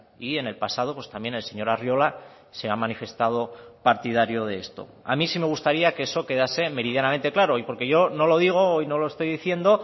y en el pasado también el señor arriola se ha manifestado partidario de esto a mí sí me gustaría que eso quedase meridianamente claro y porque yo no lo digo hoy no lo estoy diciendo